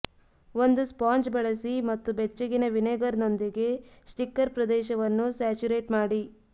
ಒಂದು ಸ್ಪಾಂಜ್ ಬಳಸಿ ಮತ್ತು ಬೆಚ್ಚಗಿನ ವಿನೆಗರ್ನೊಂದಿಗೆ ಸ್ಟಿಕ್ಕರ್ ಪ್ರದೇಶವನ್ನು ಸ್ಯಾಚುರೇಟ್ ಮಾಡಿ